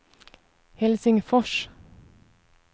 Helsingfors